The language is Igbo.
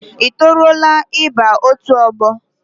I toruola ịba otu ọgbọ?